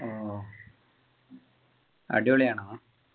ഓ അടിപൊളിയാണോ